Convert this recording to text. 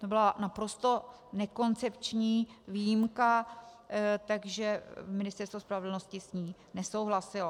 To byla naprosto nekoncepční výjimka, takže Ministerstvo spravedlnosti s ní nesouhlasilo.